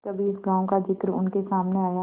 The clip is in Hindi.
कभी इस गॉँव का जिक्र उनके सामने आया